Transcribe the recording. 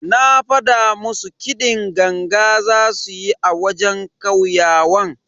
Na fada musu kiɗin ganga zasu yi a wajen kauyawan.